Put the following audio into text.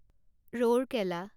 Rourkela